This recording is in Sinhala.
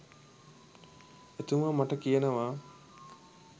එතුමා මට කියනවා